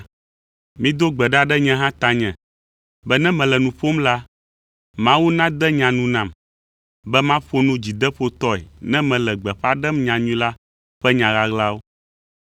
Mido gbe ɖa ɖe nye hã tanye be ne mele nu ƒom la, Mawu nade nya nu nam, be maƒo nu dzideƒotɔe ne mele gbeƒã ɖem nyanyui la ƒe nya ɣaɣlawo,